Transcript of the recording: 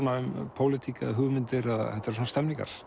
pólitík eða hugmyndir þetta eru svona